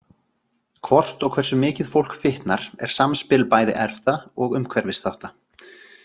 Hvort og hversu mikið fólk fitnar er samspil bæði erfða og umhverfisþátta.